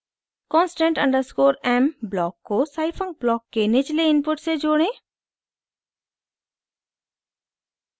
constant underscore m block को scifunc block के निचले इनपुट से जोड़ें